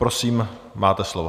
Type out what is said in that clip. Prosím, máte slovo.